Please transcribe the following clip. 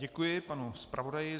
Děkuji panu zpravodaji.